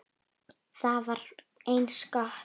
Það var eins gott!